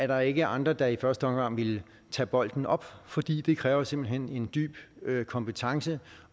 der ikke andre der i første omgang ville tage bolden op fordi det kræver simpelt hen en dyb kompetence